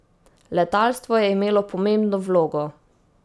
Letalstvo je imelo pomembno vlogo.